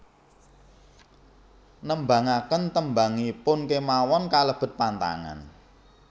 Nembangaken tembangipun kémawon kalebet pantangan